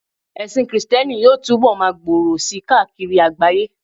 ẹsìn Kristẹni yíò tubọ ma gbòrò sí káàkiri àgbáyé